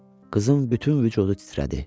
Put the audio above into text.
Qızın bütün vücudu titrədi.